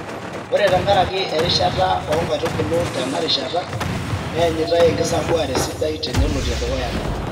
Ore tenkaraki erishata oo nkaitubulu tenarishata neenyitai enkisampuare sidai tenelotie dukuya ena.